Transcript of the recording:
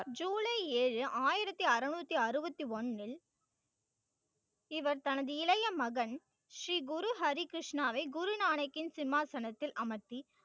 ஜூலை ஏழு, ஆயிரத்தி அறநூத்தி அறுபத்தி ஒண்ணில் இவர் தனது இளைய மகன் ஸ்ரீ குரு ஹரிகிருஷ்ணாவை குருநானக்கில் சிம்மாசனத்தில் அமர்த்தி